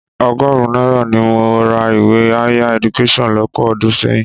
Ọgọ́rùn-ún náírà ni mo ra ìwé Higher Education lọ́pọ̀ ọdún sẹ́yìn.